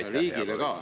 Aitäh, hea kolleeg!